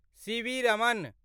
CV. Raman